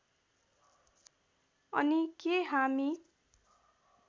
अनि के हामी